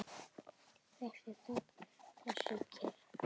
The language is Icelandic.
Þessi þögn, þessi kyrrð!